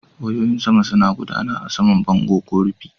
Wayoyin saman suna gudana a saman bango ko rufi.